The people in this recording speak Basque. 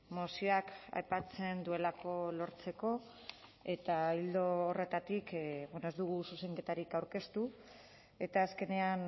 mozioak aipatzen duelako lortzeko eta ildo horretatik ez dugu zuzenketarik aurkeztu eta azkenean